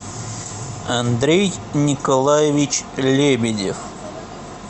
андрей николаевич лебедев